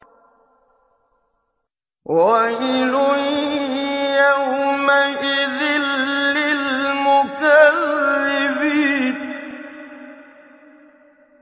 وَيْلٌ يَوْمَئِذٍ لِّلْمُكَذِّبِينَ